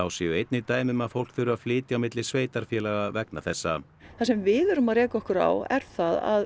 séu einnig dæmi um að fólk þurfi að flytja á milli sveitarfélaga vegna þessa það sem við erum að reka okkur á er það að